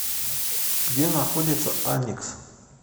где находится аникс